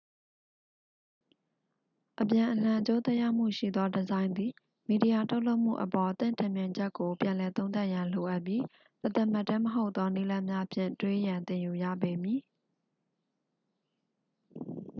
အပြန်အလှန် အကျိုးသက်ရောက်မှုရှိသော ဒီဇိုင်းသည် မီဒီယာ ထုတ်လုပ်မှုအပေါ် သင့်ထင်မြင်ချက်ကို ပြန်လည်သုံးသပ်ရန် လိုအပ်ပြီး တသမတ်တည်း မဟုတ်သော နည်းလမ်းများဖြင့် တွေးရန်သင်ယူရပေမည်